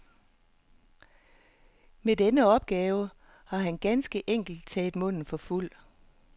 Med denne opgave har han ganske enkelt taget munden for fuld.